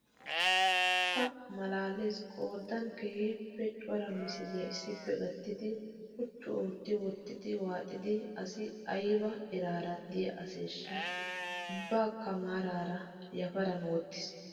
Pa''a maalaales qoodan keehippe cora misiliyaa issippe gattidi quchchu oottidi waaxida asi ayiba eraara diyaa aseeshshaa! Ubbaakka maaraara yaparan wottis.